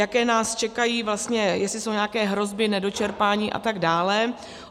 Jaké nás čekají vlastně, jestli jsou nějaké hroby nedočerpání atd.